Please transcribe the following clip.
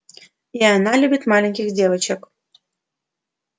и она любит маленьких девочек